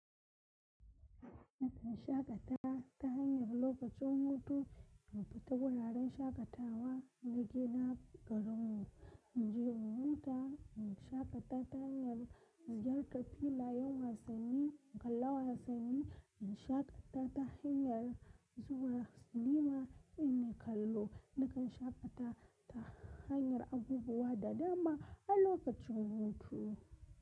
Shakata ta hanyar lokacin hutu, mun fita wuraren shakatawa na gida garinmu, mu je mu wuta, mun shaƙata ta hanyar ziyartar filayen wasanni, mu kalla wasanni, mun shaƙata ta hanyar zuwa sinima, mu yi kallo, mu kan shaƙata ta hanyar abubuwa da dama a lokacin hutu.